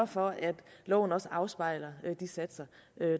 for at loven også afspejler de satser